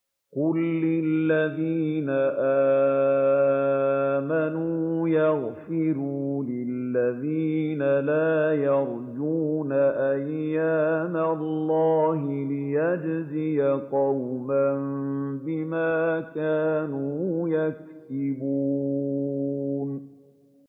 قُل لِّلَّذِينَ آمَنُوا يَغْفِرُوا لِلَّذِينَ لَا يَرْجُونَ أَيَّامَ اللَّهِ لِيَجْزِيَ قَوْمًا بِمَا كَانُوا يَكْسِبُونَ